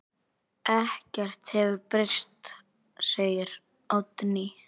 Ekkert hefur breyst, segir Oddný.